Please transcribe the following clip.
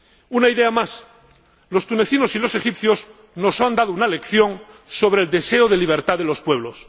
Una idea más los tunecinos y los egipcios nos han dado una lección sobre el deseo de libertad de los pueblos.